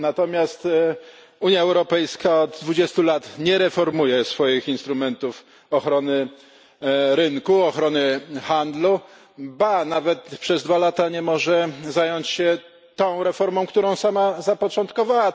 Natomiast Unia Europejska od 20 lat nie reformuje swoich instrumentów ochrony rynku, ochrony handlu, ba, nawet przez 2 lata nie może zająć się tą reformą, którą sama zapoczątkowała.